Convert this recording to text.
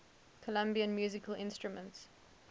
colombian musical instruments